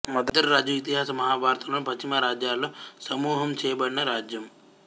మద్ర రాజ్యం ఇతిహాసం మహాభారతంలోని పశ్చిమ రాజ్యాలలో సమూహం చేయబడిన రాజ్యం